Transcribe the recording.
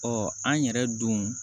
Ɔ an yɛrɛ don